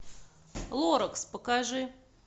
лоракс покажи